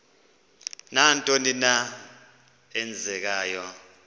nantoni na eenzekayo